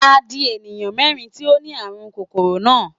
Ó di èèyàn mérìn tí ó ni ààrùn kòróná.